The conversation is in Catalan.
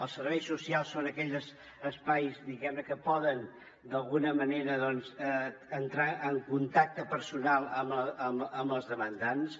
els serveis socials són aquells espais diguem ne que poden d’alguna manera doncs entrar en contacte personal amb els demandants